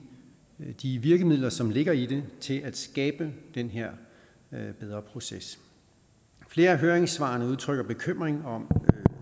de virkemidler som ligger i det til at skabe den her bedre proces flere af høringssvarene udtrykker bekymring om